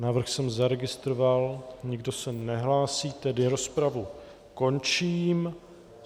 Návrh jsem nezaregistroval, nikdo se nehlásí, tedy rozpravu končím.